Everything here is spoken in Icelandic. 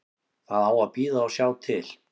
Það á að bíða og sjá til.